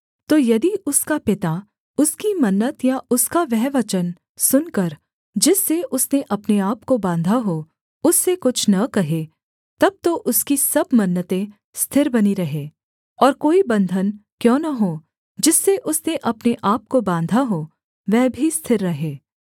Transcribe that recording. तो यदि उसका पिता उसकी मन्नत या उसका वह वचन सुनकर जिससे उसने अपने आपको बाँधा हो उससे कुछ न कहे तब तो उसकी सब मन्नतें स्थिर बनी रहें और कोई बन्धन क्यों न हो जिससे उसने अपने आपको बाँधा हो वह भी स्थिर रहे